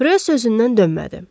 Röv sözündən dönmədi.